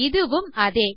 இதுவும் அதே